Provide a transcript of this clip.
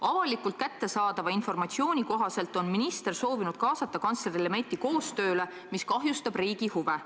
Avalikult kättesaadava informatsiooni kohaselt on minister soovinud kaasata kantsler Lemetti koostöösse, mis kahjustab riigi huve.